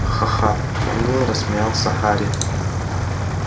ха-ха-ха уныло рассмеялся гарри